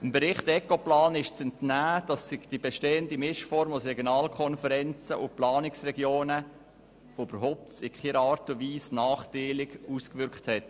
Dem Bericht Ecoplan ist zu entnehmen, dass sich die bestehende Mischform aus Regionalkonferenzen und Planungsregionen in keiner Art und Weise nachteilig ausgewirkt hat.